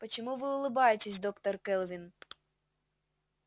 почему вы улыбаетесь доктор кэлвин